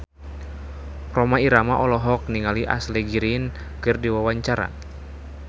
Rhoma Irama olohok ningali Ashley Greene keur diwawancara